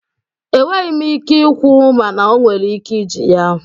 Enweghi m ike ikwu mana o nwere ike iji ya.